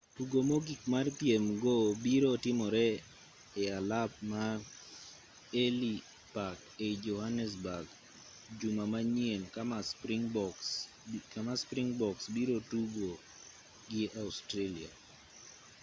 tugo mogik mar piem go biro timore e alap ma elli park ei johanesburg juma manyien kama springbooks biro tugo gi australia